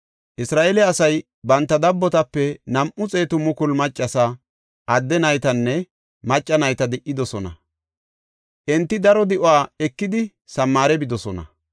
Isra7eele asay banta dabbotape nam7u xeetu mukulu maccasa, adde naytanne macca nayta di77idosona; enti daro di7uwa ekidi Samaare bidosona.